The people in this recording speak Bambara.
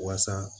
Waasa